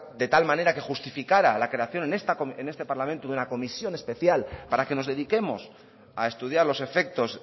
de tal manera que justificara la creación en este parlamento de una comisión especial para que nos dediquemos a estudiar los efectos